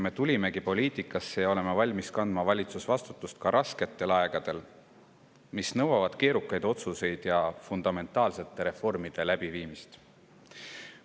Me tulimegi poliitikasse sellepärast, et me oleme valmis kandma valitsusvastutust ka rasketel aegadel, mis nõuavad keerukaid otsuseid ja fundamentaalsete reformide läbiviimist.